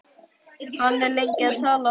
Hann er lengi að tala.